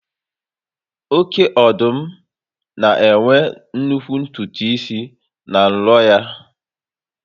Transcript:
Oké ọdụm ma enwe nnukwu ntutu n'isi na n'nlo ya